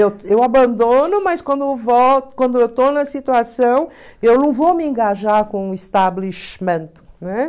Eu eu abandono, mas quando quando eu estou na situação, eu não vou me engajar com o establishment, né?